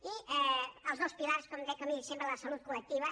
i els dos pilars com he dit sempre la salut col·lectiva